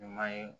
Ɲuman ye